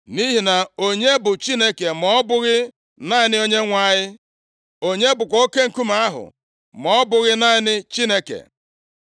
Nʼihi na onye bụ Chineke, ma ọ bụghị naanị Onyenwe anyị? Onye bụkwa Oke Nkume ahụ, ma ọ bụghị naanị Chineke?